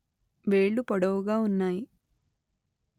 వేళ్ళు పొడువుగా ఉన్నాయి